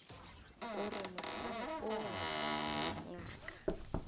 go re mohlang woo ngaka